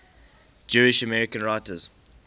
jewish american writers